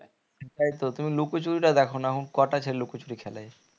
একদম তুমি লুকোচুরিটা দেখো না এখন কটা ছেলে লুকোচুরি খেলে